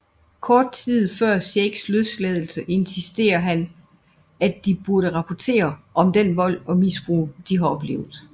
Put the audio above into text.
Kort tid før Shakes løslades insisterer han at de burde rapportere om den vold og misbrug de har oplevet